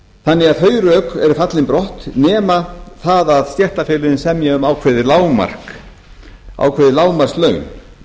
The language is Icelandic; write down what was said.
þannig að þau rök eru fallin brott nema það að stéttarfélögin semji um ákveðin lágmarkslaun